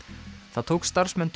það tók starfsmenn